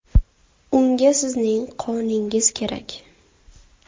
Unga sizning qoningiz kerak .